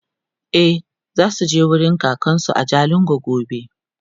e zasuje wurin kakansu a jalingo gobe